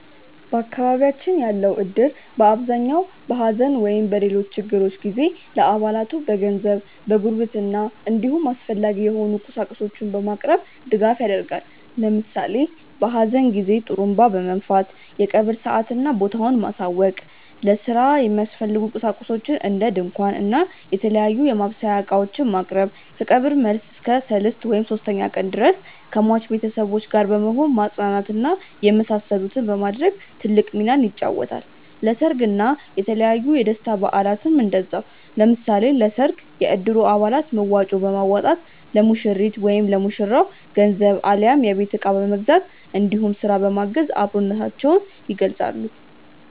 በአካባቢያችን ያለው እድር በአብዛኛው በሐዘን ወይም በሌሎች ችግሮች ጊዜ ለአባላቱ በገንዘብ፣ በጉርብትና እንዲሁም አስፈላጊ የሆኑ ቁሳቁሶችን በማቅረብ ድጋፍ ያደርጋል። ለምሳሌ በሀዘን ጊዜ ጡሩንባ በመንፋት የቀብር ሰአትና ቦታውን ማሳወቅ፣ ለስራ የሚያስፈልጉ ቁሳቁሶችን እንደ ድንኳን እና የተለያዩ የማብሰያ እቃዎችን ማቅረብ፣ ከቀብር መልስ እስከ ሰልስት (ሶስተኛ ቀን) ድረስ ከሟች ቤተሰቦች ጋር በመሆን ማፅናናት እና የመሳሰሉትን በማድረግ ትልቅ ሚናን ይጫወታል። ለሰርግ እና የተለያዩ የደስታ በአላትም እንደዛው። ለምሳሌ ለሰርግ የእድሩ አባላት መዋጮ በማዋጣት ለሙሽሪት/ ለሙሽራው ገንዘብ አሊያም የቤት እቃ በመግዛት እንዲሁም ስራ በማገዝ አብሮነታቸውን ይገልፃሉ።